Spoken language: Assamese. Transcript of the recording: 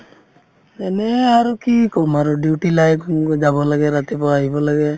এনে আৰু কি কম আৰু duty life যাব লাগে ৰাতিপুৱা আহিব লাগে